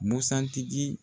Busan tigi